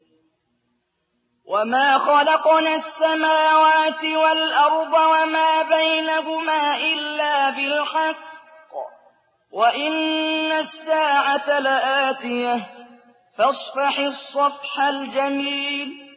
وَمَا خَلَقْنَا السَّمَاوَاتِ وَالْأَرْضَ وَمَا بَيْنَهُمَا إِلَّا بِالْحَقِّ ۗ وَإِنَّ السَّاعَةَ لَآتِيَةٌ ۖ فَاصْفَحِ الصَّفْحَ الْجَمِيلَ